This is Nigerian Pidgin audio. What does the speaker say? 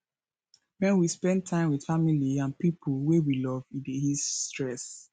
when we spend time with family and pipo wey we love e dey ease stress